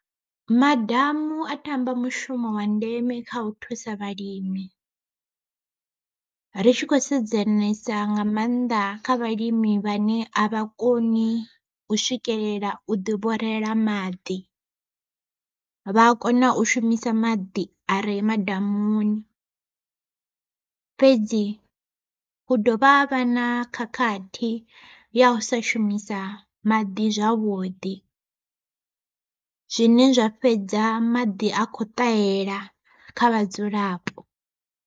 Madamu a tamba mushumo wa ndeme kha u thusa vhalimi, ri tshi khou sedzanesa nga maanḓa kha vhalimi vhane a vha koni u swikelela u ḓi vhorela maḓi. Vha a kona u shumisa maḓi are madamuni, fhedzi hu dovha havha na khakhathi ya u sa shumisa maḓi zwavhuḓi, zwine zwa fhedza maḓi a khou ṱahela kha vhadzulapo.